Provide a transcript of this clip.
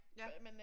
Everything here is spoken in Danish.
Ja